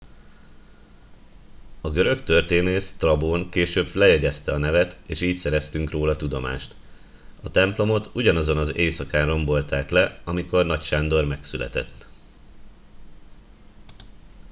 a görög történész sztrabón később lejegyezte a nevet és így szereztünk róla tudomást a templomot ugyanazon az éjszakán rombolták le amikor nagy sándor megszületett